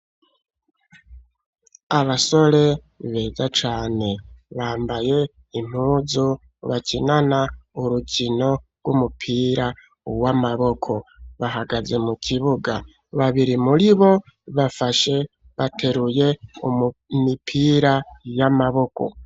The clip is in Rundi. Abasore beza cane, bambaye impuzu bakinana urukino rw'umupira w'amaboko; bahagaze mu kibuga, babiri muri bo, bafashe, bateruye imipira y'amaboko.